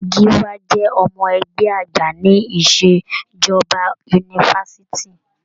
Gíwá jẹ́ ọmọ-ẹgbẹ́ àgbà ní ìṣẹ̀jọba yunifásitì.